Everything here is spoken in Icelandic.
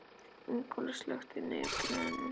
Ingólfur, slökktu á niðurteljaranum.